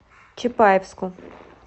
чапаевску